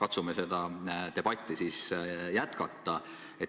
Aga katsume seda debatti jätkata.